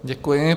Děkuji.